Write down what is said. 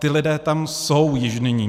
Ti lidé tam jsou již nyní.